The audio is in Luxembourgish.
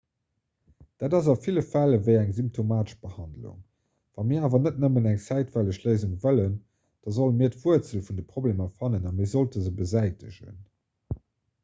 dat ass a ville fäll ewéi eng symptomatesch behandlung wann mir awer net nëmmen eng zäitweileg léisung wëllen da sollte mir d'wuerzel vun de problemer fannen a mir sollte se besäitegen